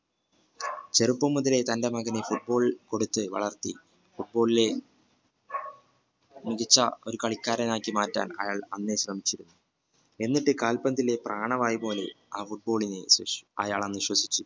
ചെറുപ്പം മുതലേ തന്റെ മകനെ football കൊടുത്തു വളർത്തി football ലെ മികച്ച ഒരു കളിക്കാരൻ ആക്കിമാറ്റാൻ അയാൾ അന്നേ ശ്രമിച്ചു എന്നിട്ട് കാൽപന്തിയിൽ പ്രാണവായു പോലെ ആ football നെ അയാൾ അങ്ങ് വിശ്വസിച്ചു